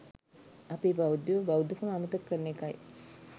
අපේ බෞද්ධයෝ බෞද්ධකම අමතක කරන එකයි